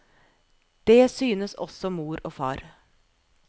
Det synes også mor og far.